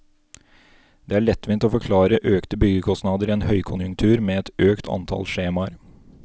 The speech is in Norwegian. Det er lettvint å forklare økte byggekostnader i en høykonjunktur med et økt antall skjemaer.